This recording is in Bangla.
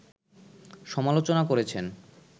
সমালোচনা করেছেন